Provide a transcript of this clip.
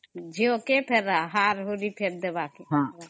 ଝିଅ କେ ଫେର ହାର ହୁରି ଫେର ଦେବାକେ